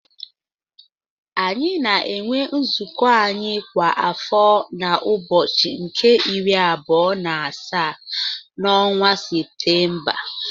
Anyị na-enwe nzụkọ anyị kwa afọ na ụbọchị nke iri abụọ n'asaa n'ọnwa Séptémba